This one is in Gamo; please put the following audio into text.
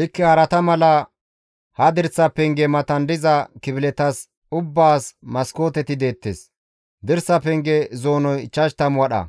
Likke harata mala, ha dirsa pengeza matan diza kifiletas ubbaas maskooteti deettes. Dirsa penge zoonoy 50 wadha;